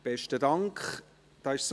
Dort ist es ein wenig anderes.